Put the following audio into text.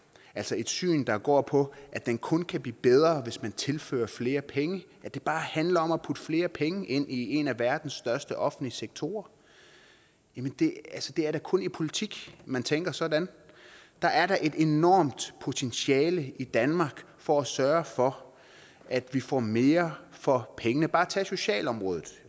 altså et syn der går på at den kun kan blive bedre hvis man tilfører flere penge at det bare handler om at putte flere penge ind i en af verdens største offentlige sektorer det er da kun i politik man tænker sådan der er da et enormt potentiale i danmark for at sørge for at vi får mere for pengene bare tag socialområdet